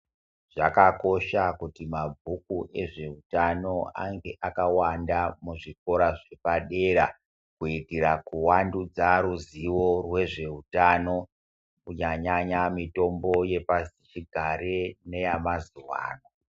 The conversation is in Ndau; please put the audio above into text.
Zvakakosha kuti mabhuku ezveutano ange akawanda muzvikora zviri padera kuitira kuvandudza ruzivo rwezveutano kunyanya-nyanya mitombo yepashichigare neyamazuwano.